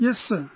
Yes Sir